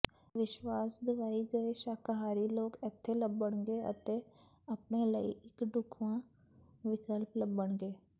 ਵਿਸ਼ਵਾਸ ਦਿਵਾਏ ਗਏ ਸ਼ਾਕਾਹਾਰੀ ਲੋਕ ਇੱਥੇ ਲੱਭਣਗੇ ਅਤੇ ਆਪਣੇ ਲਈ ਇੱਕ ਢੁੱਕਵਾਂ ਵਿਕਲਪ ਲੱਭਣਗੇ